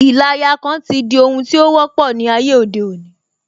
Ìlayakan ti di ohun tí ó wọ́pọ̀ ní ayé òde òní